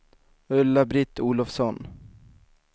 Ulla-Britt Olovsson